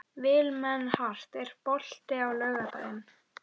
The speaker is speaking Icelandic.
Vilmenhart, er bolti á laugardaginn?